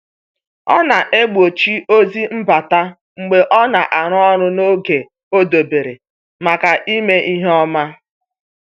Ọ na-egbochi ozi mbata mgbe ọ na-arụ ọrụ n’oge o debere maka ime ihe ọma.